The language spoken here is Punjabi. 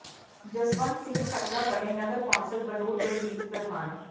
ਜਸਵੰਤ ਸਿੰਘ ਖੱਟੜਾ ਬਣੇ ਨਗਰ ਕੌਂਸਲ ਬਨੂੜ ਦੇ ਮੀਤ ਪ੍ਰਧਾਨ